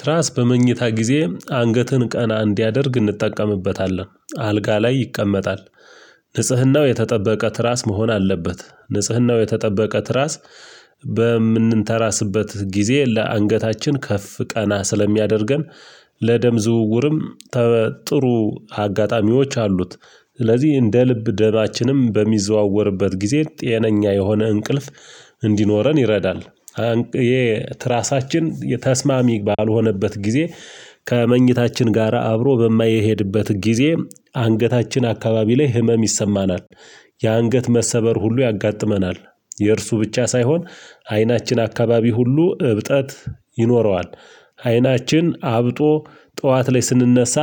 ትራስ በመኝታ ጊዜ አንገትን ቀና እንዲያደርግ እንጠቀምበታለን አልጋ ላይ ይቀመጣል። ንጽህናው የተጠበቀ ትራስ መሆን አለበት ንጽህናው የተጠበቀ ትራስ በምንንተራስበት ጊዜ ለአንገታችን ከፍ ቀና ስለሚያደርገን። ለደም ዝውውርም ጥሩ አጋጣሚዎች አሉት። ስለዚህ እንደ ልብ ደማችንም በሚዘዋወርበት ጊዜ ጤነኛ የሆነ እንቅልፍ እንዲኖረን ይረዳል። የትራሳችን ተስማሚ ባልሆነበት ጊዜ ከመኝታችን ጋራ አብሮ በማይሄድበት ጊዜ አንገታችን አካባቢ ላይ ህመም ይሰማናል። የአንገት መሰበር ሁሉ ያጋጥመናል። የእርሱ ብቻ ሳይሆን አይናችን አካባቢ ሁሉ እብጠት ይኖረዋል። አይናችን አብጦ ጠዋት ላይ ስንነሳ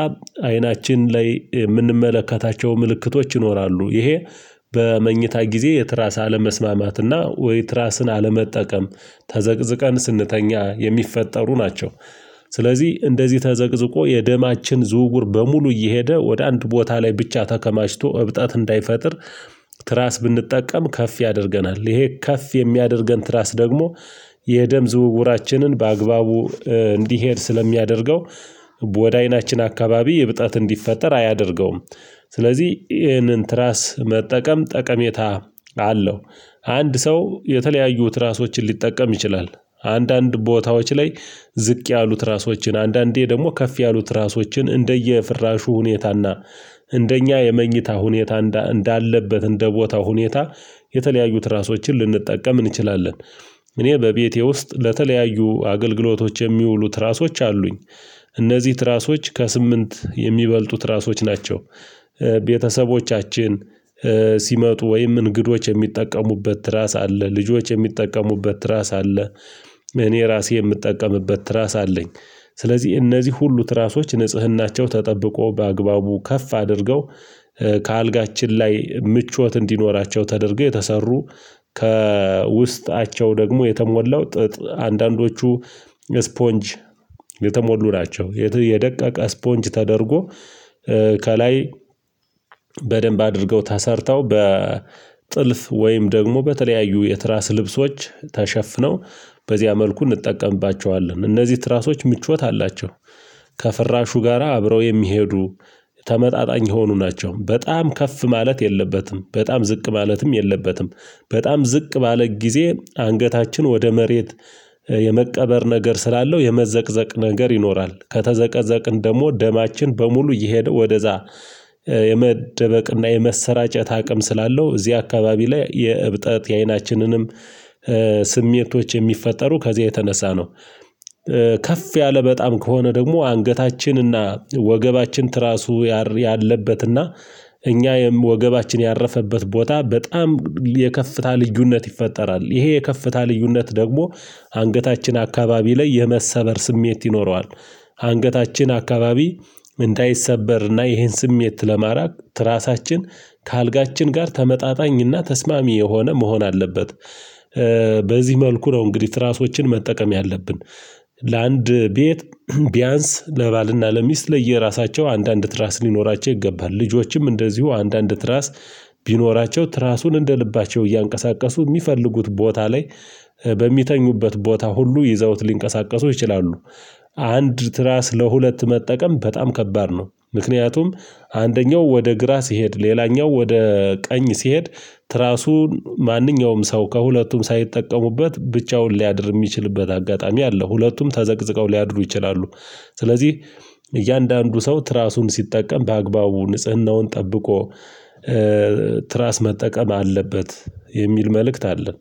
አይናችን ላይ የምንመለከታቸው ምልክቶች ይኖራሉ ይሄ። በመኝታ ጊዜ የትራሳ አለመስማማትና ወይ ትራስን አለመጠቀም ተዘቅዝቀን ስንተኛ የሚፈጠሩ ናቸው። ስለዚህ እንደዚህ ተዘቅዝቆ የደማችን ዝውውር በሙሉ እየሄደ ወደ አንድ ቦታ ላይ ብቻ ተከማችቶ እብጣት እንዳይፈጥር። ትራስ ብንጠቀም ከፍ ያደርገናል ይሄ ከፍ የሚያደርገን ትራስ ደግሞ የደም ዝውውራችንን በአግባቡ እንዲሄድ ስለሚያደርገው ወደ አይናችን አካባቢ የብጣት እንዲፈጠር አያደርገውም። ስለዚህ ይህንን ትራስ መጠቀም ጠቀሜታ አለው። አንድ ሰው የተለያዩት ራሶችን ሊጠቀም ይችላል። አንዳንድ ቦታዎች ላይ ዝቅ ያሉት ራሶችን አንዳንዴ ደግሞ ከፍ ያሉት ራሶችን እንደየ ፍራሹ ሁኔታና እንደኛ የመኝታ ሁኔታ እንዳለበት እንደ ቦታ ሁኔታ የተለያዩት ራሶችን ልንጠቀም እንችላለን። እኔ በቤቴ ውስጥ ለተለያዩ አገልግሎቶች የሚውሉት ራሶች አሉኝ። እነዚህ ትራሶች ከስምንት የሚበልጡት ራሶች ናቸው። ቤተሰቦቻችን ሲመጡ ወይም እንግዶች የሚጠቀሙበት ራስ አለ። ልጆች የሚጠቀሙበት ራስ አለ። እኔ ራሴ የምጠቀምበት ራስ አለኝ። ስለዚህ እነዚህ ሁሉ ትራሶች ንጽህናቸው ተጠብቆ በአግባቡ ከፍ አድርገው ከአልጋችን ላይ ምቾት እንዲኖራቸው ተደርገው የተሰሩ። ከውስጣቸው ደግሞ የተሞላው ጥጥ አንዳንዶቹ ስፖንጅ የተሞሉ ናቸው። የደቀቀ ስፖንጅ ተደርጎ ከላይ በደንብ አድርገው ተሰርተው በጥልፍ ወይም ደግሞ በተለያዩ የትራስ ልብሶች ተሸፍነው። በዚያ መልኩ እንጠቀምባቸዋለን እነዚህ ትራሶች ምቾት አላቸው። ከፍራሹ ጋራ አብረው የሚሄዱ ተመጣጣኝ የሆኑ ናቸው። በጣም ከፍ ማለት የለበትም በጣም ዝቅ ማለትም የለበትም። በጣም ዝቅ ባለ ጊዜ አንገታችን ወደ መሬት የመቀበር ነገር ስላለው የመዘቅዘቅ ነገር ይኖራል። ከተዘቀዘቅን ደግሞ ደማችን በሙሉ እየሄደ ወደዛ የመደበቅና የመሰራጨት አቅም ስላለው እዚህ አካባቢ ላይ የእብጠት የአይናችንንም ስሜቶች የሚፈጠሩ ከዚያ የተነሳ ነው። ከፍ ያለ በጣም ከሆነ ደግሞ አንገታችንና ወገባችን ትራሱ ያለበትና እኛ ወገባችን ያረፈበት ቦታ በጣም የከፍታ ልዩነት ይፈጠራል። ይሄ የከፍታ ልዩነት ደግሞ አንገታችን አካባቢ ላይ የመሰበር ስሜት ይኖረዋል። አንገታችን አካባቢ ምን እንዳይሰበር ይሄን ስሜት ለማራቅ ትራሳችን ከአልጋችን ጋር ተመጣጣኝና ተስማሚ የሆነ መሆን አለበት። በዚህ መልኩ ነው እንግዲህ ትራሶችን መጠቀም ያለብን። ለአንድ ቤት ቢያንስ ለባልና ለሚስት ለየራሳቸው አንዳንድ ትራስ ሊኖራቸው ይገባል ልጆችም እንደዚሁ አንዳንድ ትራስ ቢኖራቸው ትራሱን እንደ ልባቸው እያንቀሳቀሱ የሚፈልጉት ቦታ ላይ በሚተኙበት ቦታ ሁሉ ይዘውት ሊንቀሳቀሱ ይችላሉ። አንድ ትራ ስለ ሁለት መጠቀም በጣም ከባድ ነው ምክንያቱም። አንደኛው ወደ ግራ ሲሄድ ሌላኛው ወደ ቀኝ ሲሄድ። ትራሱ ማንኛውም ሰው ከሁለቱም ሳይጠቀሙበት ብቻውን ሊያድር የሚችልበት አጋጣሚ አለ። ሁለቱም ተዘቅዝቀው ሊያድሩ ይችላሉ። ስለዚህ እያንዳንዱ ሰው ትራሱን ሲጠቀም በአግባቡ ንጽህናውን ጠብቆ ትራስ መጠቀም አለበት። የሚል መልእክት አለን